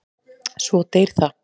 Svo deyr það.